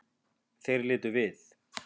Þeir litu við.